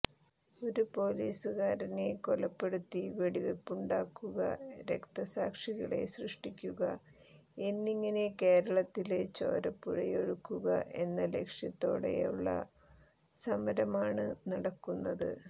ഒരു പോലീസുകാരനെ കൊലപ്പെടുത്തി വെടിവെപ്പുണ്ടാക്കുക രക്തസാക്ഷികളെ സൃഷ്ടിക്കുക എന്നിങ്ങനെ കേരളത്തില് ചോരപ്പുഴയൊഴുക്കുക എന്ന ലക്ഷ്യത്തോടെയുള്ള സമരമാണ് നടക്കുന്നത്